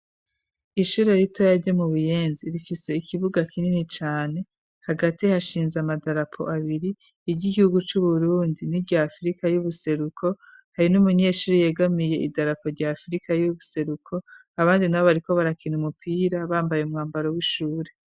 Ishure rito yarye mu buyenzi rifise ikibuga kinini cane hagati hashinze amadarapo abiri iry'igihugu c'uburundi n'iryafrika y'ubuseruko hari n'umunyeshuri yegamiye idarapo rya afrika y'ubuseruko abandi nabo ariko barakina umupira bambaye umwambaro w'ishure.